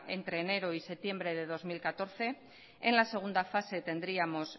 entre enero y septiembre de dos mil catorce en la segunda fase tendríamos